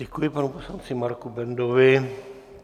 Děkuji panu poslanci Marku Bendovi.